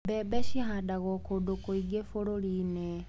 Mbembe cihandagwo kũndũ kũingĩ bũruriinĩ.